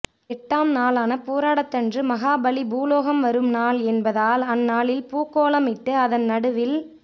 எட்டாம் நாளான பூராடத்தன்று மகாபலி பூலோகம் வரும் நாள் என்பதால் அந்நாளில் பூக்கோலமிட்டு அதன் நடுவில்